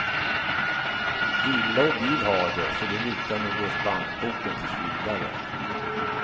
Villa och bil har de, så det lutar nog åt bankboken tills vidare.